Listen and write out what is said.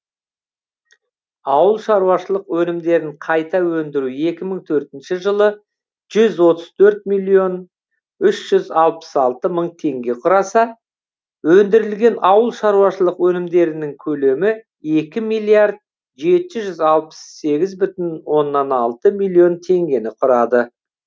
ауыл шаруашылық өнімдерін қайта өндіру екі мың төртінші жылы жүз отыз төрт миллион үш жүз алпыс алты мың тенге құраса өндірілген ауыл шаруашылық өнімдерінің көлемі екі миллиард жеті жүз алпыс сегіз бүтін оннан алты миллион тенгені құрады